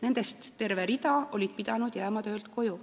Nendest terve hulk oli pidanud jääma töölt koju.